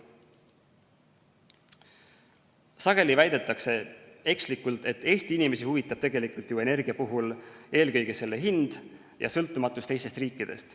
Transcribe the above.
Sageli väidetakse ekslikult, et Eesti inimesi huvitab tegelikult ju energia puhul eelkõige selle hind ja sõltumatus teistest riikidest.